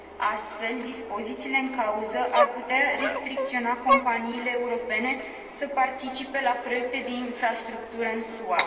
Astfel, dispozițiile în cauză ar putea restricționa companiile europene să participe la proiecte de infrastructură în SUA.